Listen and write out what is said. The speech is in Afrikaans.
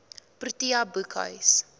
protea boekhuis